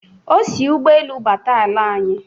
o si ụgbọelu bata ala anyị.